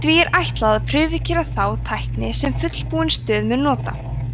því er ætlað að prufukeyra þá tækni sem fullbúin stöð mun nota